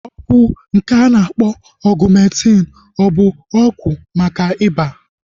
Ọgwụ nke a na-akpọ Ọgumentin ọ bụ ọgwụ maka ọrịa ịba?